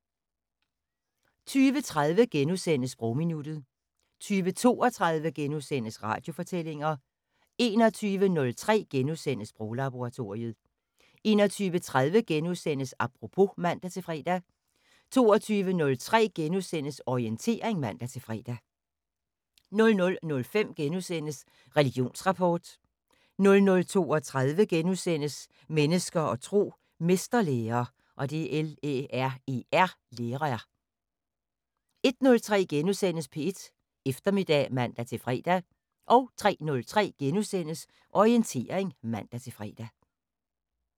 20:30: Sprogminuttet * 20:32: Radiofortællinger * 21:03: Sproglaboratoriet * 21:30: Apropos *(man-fre) 22:03: Orientering *(man-fre) 00:05: Religionsrapport * 00:32: Mennesker og tro: Mesterlærer * 01:03: P1 Eftermiddag *(man-fre) 03:03: Orientering *(man-fre)